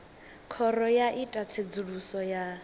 khoro yo ita tsedzuluso ya